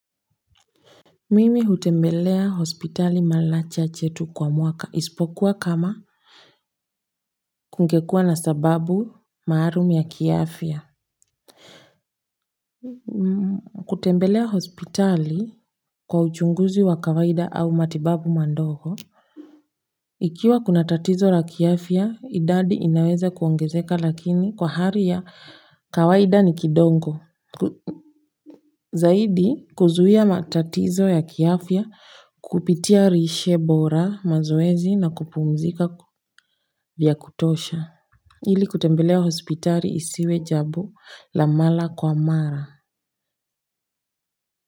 Mimi hutembelea hospitali mara chache tu kwa mwaka. Isipokuwa kama kungekuwa na sababu maalum ya kiafya. Kutembelea hospitali kwa uchunguzi wa kawaida au matibabu madogo ikiwa kuna tatizo la kiafya, idadi inaweza kuongezeka lakini kwa hali ya kawaida ni kidogo. Zaidi kuzuia matatizo ya kiafya kupitia lishebora mazoezi na kupumzika vya kutosha. Ili kutembelea hospitali isiwe jambo la mara kwa mara.